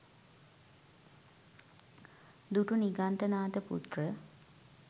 දුටු නිගණ්ඨනාථ පුත්‍ර